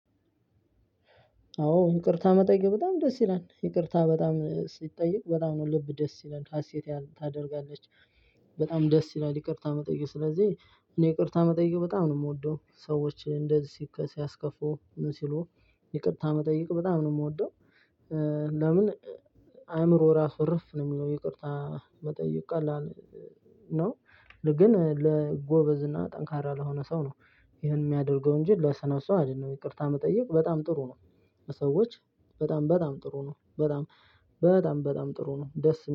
አዎ ይቅርታ መጠየቅ በጣም ደስ ይላል። ይቅርታ በጣም ሲጠየቅ በጣም ነው ልብ ደስ ይላል ሀሴት ታደርጋለች። በጣም ደስ ይላል ይቅርታ መጠየቅ። ስለዚህ እኔ ይቅርታ መጠየቅ በጣም ነው የምወደው። ሰዎች እንደዚህ ሲያስከፉ ምን ሲሉ ይቅርታ መጠየቅ በጣም ነው የምወደው። ለምን አእምሮ ራሱ እረፍ ነው የሚለው። ይቅርታ መጠየቅ ቀላል ነው ግን ለጎበዝ እና ጠንካራ ለሆነ ሰው ነው ይህን የሚያደርገው እንጂ ለሰነሱ አይደለም ይቅርታ መጠየቅ በጣም ጥሩ ነው። ሰዎች በጣም በጣም ጥሩ ነው በጣም በጣም በጣም ጥሩ ነው ደስ